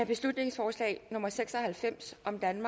beslutningsforslag nummer b seks og halvfems